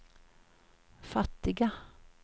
fattiga